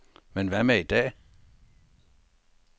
Men hvad med i dag?